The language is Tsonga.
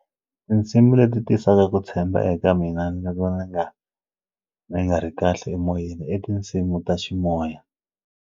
Tinsimu leti ti tisaka ku tshemba eka mina loko ni nga ni nga ri kahle emoyeni i tinsimu ta ximoya.